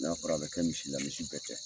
N'a fɔra a bɛ kɛ misi la misi bɛɛ tɛ.